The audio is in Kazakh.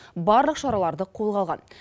барлық шараларды қолға алған